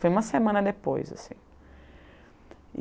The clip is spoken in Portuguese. Foi uma semana depois, assim.